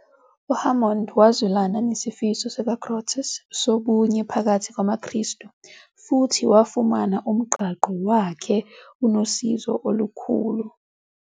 uHammond wazwelana nesifiso sikaGrotius sobunye phakathi kwamakristu, futhi wafumana umqangqo wakhe unosizo olukhulu kulokhu.